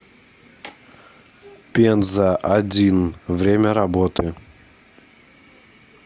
пенза один время работы